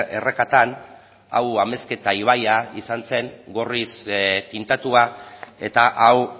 errekatan hau amezketa ibaia izan zen gorriz tintatua eta hau